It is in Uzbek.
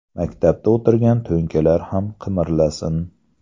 Maktabda o‘tirgan ‘to‘nkalar’ ham qimirlasin.